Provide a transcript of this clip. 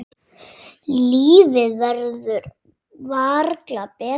Lífið verður varla betra.